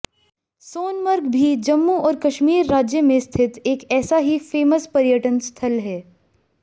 सोनमर्ग भी जम्मू और कश्मीर राज्य में स्थित एक ऐसा ही फेमस पर्यटन स्थल है